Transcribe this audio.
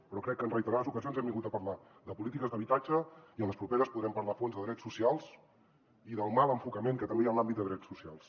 però crec que en reiterades ocasions hem vingut a parlar de polítiques d’habitatge i en les properes podrem parlar a fons de drets socials i del mal enfocament que també hi ha en l’àmbit de drets socials